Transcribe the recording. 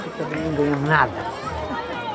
Porque também não ganhamos nada.